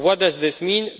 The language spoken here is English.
What does this mean?